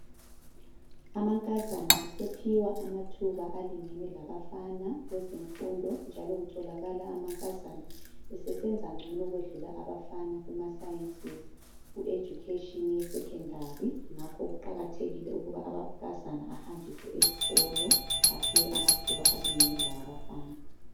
Amankazana asephiwa amathuba alingana labafana kwezemfundo, njalo kutholakala amankazana esesenza ngcono ukwedlula abafana kumasayensi ku Education ye Secondary ngakho kuqakathekile ukuba amankazana ahanjiswe ezikolo, aphiwe amathuba alingene lawabafana.